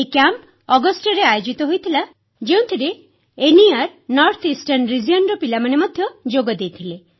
ଏହି କ୍ୟାମ୍ପ ଅଗଷ୍ଟରେ ଆୟୋଜିତ ହୋଇଥିଲା ଯେଉଁଥିରେ ଉତ୍ତର ପୂର୍ବାଞ୍ଚଳ କ୍ଷେତ୍ରର ପିଲାମାନେ ମଧ୍ୟ ଯୋଗଦେଇଥିଲେ